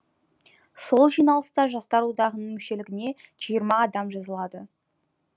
сол жиналыста жастар одағының мүшелігіне жиырма адам жазылады